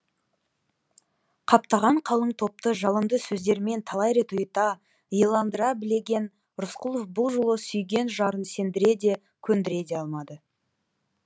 қаптаған қалың топты жалынды сөздерімен талай рет ұйыта иландыра білген рысқұлов бұл жолы сүйген жарын сендіре де көндіре де алмады